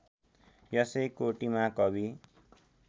यसै कोटिमा कवि